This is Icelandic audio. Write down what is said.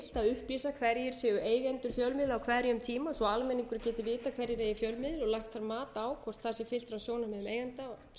upplýsa hverjir séu eigendur fjölmiðla á hverjum tíma svo almenningur geti vitað hverjir eigi fjölmiðil og lagt mat á hvort það sé fyrst frá sjónarmiðum eigenda og setja